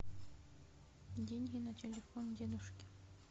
деньги на телефон дедушке